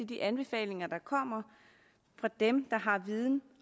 de anbefalinger der kommer fra dem der har viden